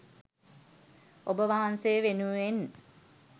ඔබවහන්සේ වෙනුවෙන්